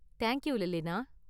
Thank you, லெலினா.